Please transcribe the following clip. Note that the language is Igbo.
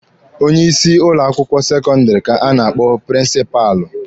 Onye isi ụlọ akwụkwọ sekọndịrị ka a na-akpọ prịnsịpalụ.